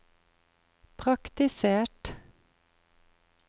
praktisert